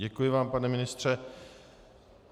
Děkuji vám, pane ministře.